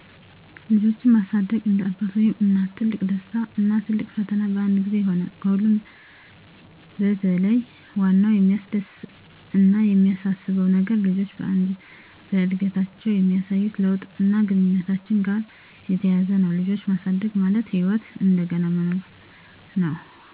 ልጆችን ማሳደግ እንደ አባት ወይም እናት ትልቅ ደስታ እና ትልቅ ፈተና በአንድ ጊዜ ይሆናል። ከሁሉም በለይ ዋናው የሚያስደስት አነ የሚያሳስበው ነገር ልጆችዎ በአድገታችዉ የሚያሳዩት ለውጥ አና ግንኙነታችን ጋራ የተያያዘ ነው። ልጅ ማሳደግ ማለት ህይወትን እንደገና መኖር ነው።